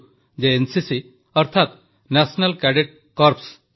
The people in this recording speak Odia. କାରଣ ମୁଁ ବି ଆପଣମାନଙ୍କ ଭଳି କ୍ୟାଡେଟ୍ ଥିଲି ଏବଂ ମନରେ ଆଜି ବି ନିଜକୁ କ୍ୟାଡେଟ୍ ବୋଲି ଗ୍ରହଣ କରେ